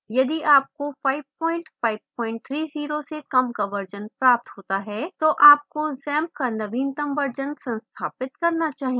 यदि आपको 5530 से कम का version प्राप्त होता है तो आपको xampp का नवीनतम version संस्थापित करना चाहिए